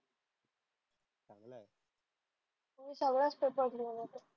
मी सगळाच पेपर लिहून येते.